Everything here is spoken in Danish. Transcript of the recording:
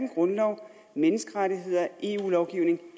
grundlov menneskerettigheder og eu lovgivning